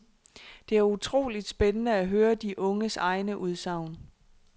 Det er utroligt spændende at høre de unges egne udsagn.